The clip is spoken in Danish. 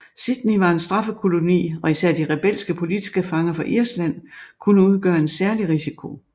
Sydney var en straffekoloni og især de rebelske politiske fanger fra Irland kunne udgøre en særlig risiko